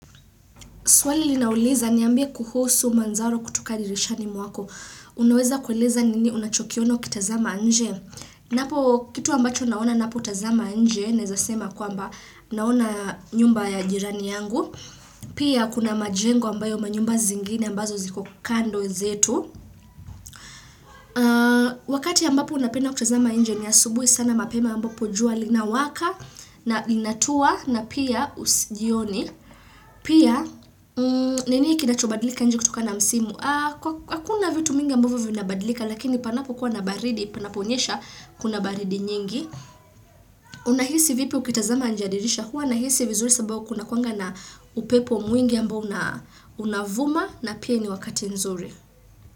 Swali linauliza niambie kuhusu mandhari kutoka dirishani mwako. Unaweza kueleza nini unachokiona kitazama nje? Ninapo, kitu ambacho naona napo tazama nje Naeza sema kwamba naona nyumba ya jirani yangu. Pia kuna majengo ambayo manyumba zingine ambazo ziko kando zetu. Wakati ambapo napenda kutazama nje ni asubuhi sana mapema ambapo jua lina waka. Na inatua na pia jioni. Pia nini kinachobadlika nje kutokana na msimu? Hakuna vitu mingi ambavyo vinabadlika lakini panapokuwa na baridi panaponyesha kuna baridi nyingi Unahisi vipi ukitazama nje ya dirisha? Hua nahisi vizuri sababu kuna kuanga na upepo mwingi ambao unavuma na pia ni wakati nzuri.